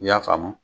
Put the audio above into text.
I y'a faamu